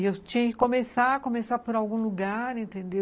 E eu tinha que começar começar por algum lugar, entendeu?